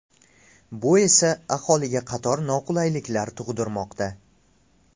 Bu esa, aholiga qator noqulayliklar tug‘dirmoqda.